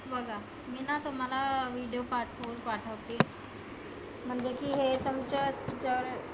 बघा मी ना तुम्हाला video पाठवून पाठवते. म्हणजे की तुमच्या चर